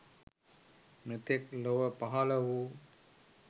මෙතෙක් ලොව පහළ වූ